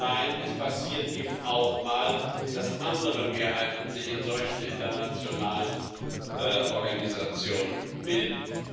Nein, es passiert eben auch mal, dass sich andere Mehrheiten in solchen internationalen Organisationen bilden.